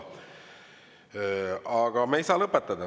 Aga me ei saa lõpetada.